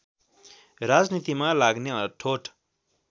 राजनीतिमा लाग्ने अठोट